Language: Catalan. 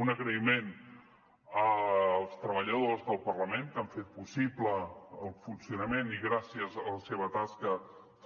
un agraïment als treballadors del parlament que han fet possible el funcionament i que gràcies a la seva tasca